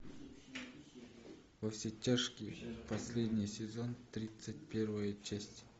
во все тяжкие последний сезон тридцать первая часть